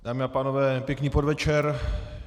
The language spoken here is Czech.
Dámy a pánové, pěkný podvečer.